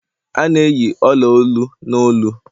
a na-eyi ola-olu n'olu